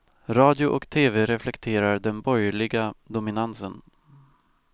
Radio och tv reflekterar den borgerliga dominansen.